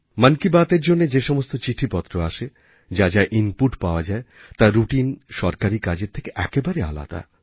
মন কি বাতএর জন্য যে সমস্ত চিঠিপত্র আসে যা যা ইনপুট পাওয়া যায় তা রাউটিন সরকারি কাজের থেকে একেবারেই আলাদা